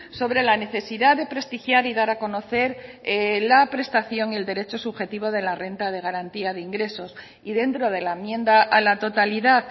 sobre la necesidad de prestigiar y dar a conocer la prestación y el derecho subjetivo de la renta de garantía de ingresos y dentro de la enmienda a la totalidad